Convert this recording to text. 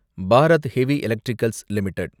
Bharat heavy electricals limited